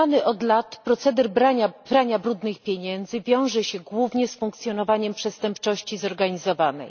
Znany od lat proceder prania brudnych pieniędzy wiąże się głównie z funkcjonowaniem przestępczości zorganizowanej.